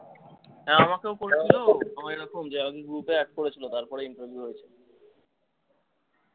হ্যাঁ আমাকেও করেছিলো group এ add করেছিলো তারপরে আমি বেরিয়া এলাম।